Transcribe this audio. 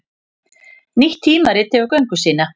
Nýtt tímarit hefur göngu sína